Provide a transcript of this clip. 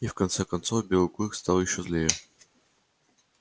и в конце концов белый клык стал ещё злее